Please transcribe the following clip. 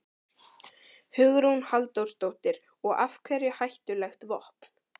Hugrún Halldórsdóttir: Og af hverju hættulegt vopn?